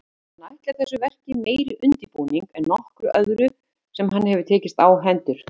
Hann ætlar þessu verki meiri undirbúning en nokkru öðru sem hann hefur tekist á hendur.